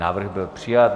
Návrh byl přijat.